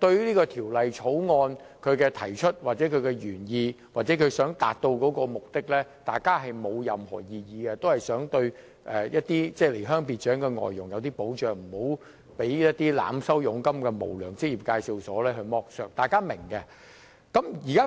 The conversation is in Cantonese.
對這項《條例草案》的提出、其原意或其想達到的目的沒有任何異議，大家也想保障離鄉別井的外傭免被濫收佣金的無良職業介紹所剝削，這一點大家也是明白的。